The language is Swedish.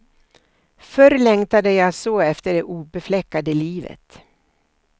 Förr längtade jag så efter det obefläckade livet.